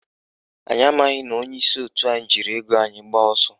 Anyị amaghị na onyeisi òtù anyị jiri ego anyị gbaa ọsọ